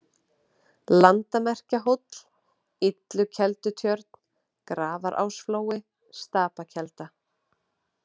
Landamerkjahóll, Illukeldutjörn, Grafarásflói, Stapakelda